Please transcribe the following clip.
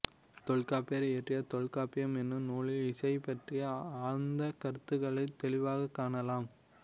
தொல்காப்பியர் இயற்றிய தொல்காப்பியம் என்னும் நூலில் இசையைப் பற்றிய ஆழ்ந்த கருத்துக்களைத் தெளிவாகக் காணலாம்